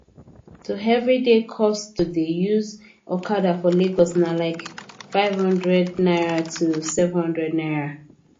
to everyday cost to dey use okada for lagos na like n500 to n700